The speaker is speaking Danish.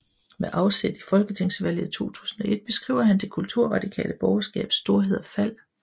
Med afsæt i folketingsvalget 2001 beskriver han det kulturradikale borgerskabs storhed og fald